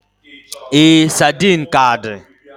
Ee, sardine ka di.